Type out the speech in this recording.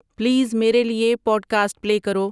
please میرے لیے podcast play کرو